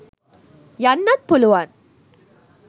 යන්නත් පුලුවන්.